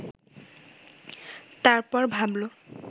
তারপর ভাবল